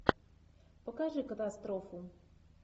покажи катастрофу